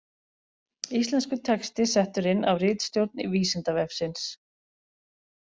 Íslenskur texti settur inn af ritstjórn Vísindavefsins.